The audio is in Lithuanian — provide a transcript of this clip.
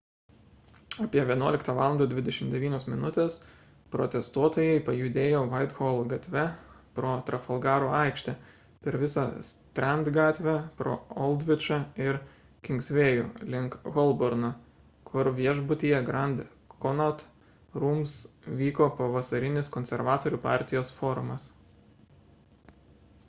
apie 11.29 val protestuotojai pajudėjo whitehall gatve pro trafalgaro aikštę per visą strand gatvę pro oldvičą ir kingsvėjų link holborno kur viešbutyje grand connaught rooms vyko pavasarinis konservatorių partijos forumas